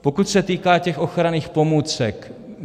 Pokud se týká těch ochranných pomůcek.